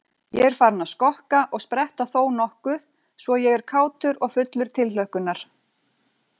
Ég er farinn að skokka og spretta þónokkuð svo ég er kátur og fullur tilhlökkunar.